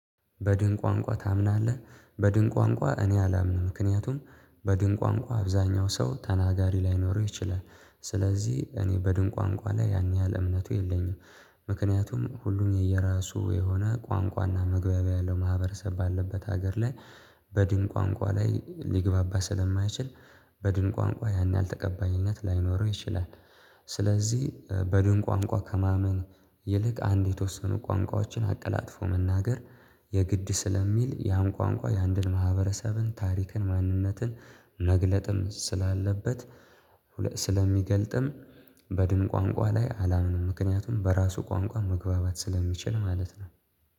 በድን ቋንቋ ታምናለህ? በድን ቋንቋ እኔ አላምንም። ምክንያቱም በድን ቋንቋ አብዛኛው ሰው ተናጋሪ ላይኖረው ይችላል። ስለዚህ እኔ በድን ቋንቋ ላይ ያን ያህል እምነቱ የለኝም። ምክንያቱም ሁሉን የየራሱ የሆነ ቋንቋና መግባቢያ ያለው ማህበረሰብ ባለበት ሀገር ላይ በድን ቋንቋ ላይ ሊግባባ ስለማይችል በድን ቋንቋ ያን ያህል ተቀባይነት ላይኖረው ይችላል። ስለዚህ በድን ቋንቋ ከማመን ይልቅ አንድ የተወሰኑ ቋንቋዎችን አቀላጥፎ መናገር የግድ ስለሚል ያን ቋንቋ የአንድን ማህበረሰብን ታሪክን ማንነትን መግለጥም ስላለበት ስለሚገልጥም በድን ቋንቋ ላይ አላምንም። ምክንያቱም በራሱ ቋንቋ መግባባት ስለሚችል ማለት ነው።